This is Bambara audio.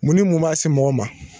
Mun ni mun b' a si mɔgɔw ma?